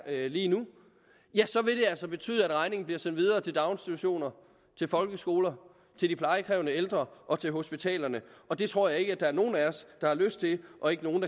lige nu så vil det altså betyde at regningen bliver sendt videre til daginstitutionerne til folkeskolerne til de plejekrævende ældre og til hospitalerne det tror jeg ikke der er nogen af os der har lyst til og ikke nogen